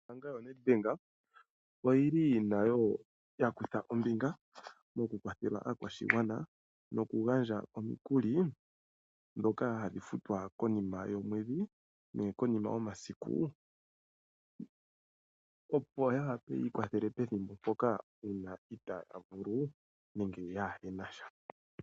Ombaanga yo Nedbank oyili nayo ya kutha ombinga moku kwathela aakwashigwana noku gandja omikuli, ndhoka hadhi futwa konima yomwedhi nenge konima yomasiku, opo ya wape ya ikwathele pethimbo mpoka uuna itaaya vulu nenge yaa henasha.